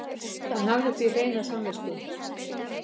Hann hefði því hreina samvisku